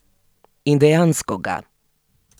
In dejansko ga.